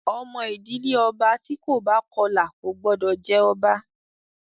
Ọmọ ìdílé ọba tí kò bá Kọlà kò gbọ́dọ̀ jẹ ọba!